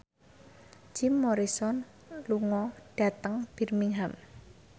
Jim Morrison lunga dhateng Birmingham